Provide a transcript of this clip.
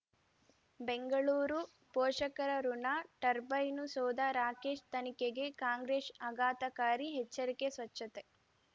ಬೆಂಗಳೂರು ಪೋಷಕರಋಣ ಟರ್ಬೈನು ಸೌಧ ರಾಕೇಶ್ ತನಿಖೆಗೆ ಕಾಂಗ್ರೆಸ್ ಆಘಾತಕಾರಿ ಎಚ್ಚರಿಕೆ ಸ್ವಚ್ಛತೆ